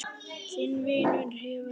Þinn vinur að eilífu.